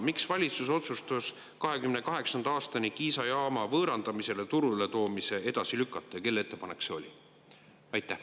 Miks valitsus otsustas 2028. aastani Kiisa jaama võõrandamisele ja turule toomise edasi lükata ja kelle ettepanek see oli?